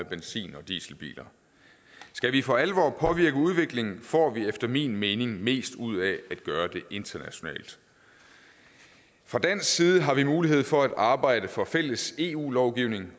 benzin og dieselbiler skal vi for alvor påvirke udviklingen får vi efter min mening mest ud af at gøre det internationalt fra dansk side har vi mulighed for at arbejde for en fælles eu lovgivning